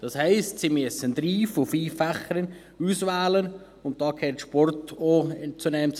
Das heisst: Sie müssen drei von fünf Fächern auswählen, und zu diesen fünf gehört auch der Sport.